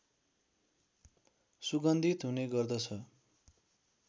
सुगन्धित हुने गर्दछ